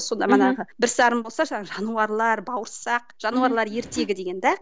сонда манағы бір сарын болса жаңа жануарлар бауырсақ жануарлар ертегі деген де